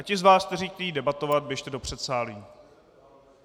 A ti z vás, kteří chtějí debatovat, běžte do předsálí.